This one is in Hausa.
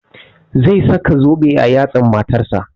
Zai saka zobe a yatsan matan sa